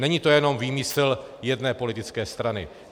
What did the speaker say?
Není to jenom výmysl jedné politické strany.